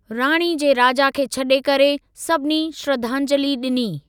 राणी जे राजा खे छडे॒ करे, सभिनी श्रद्धांजलि डि॒नी।